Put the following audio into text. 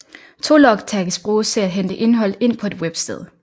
Tologtags bruges til at hente indhold ind på et websted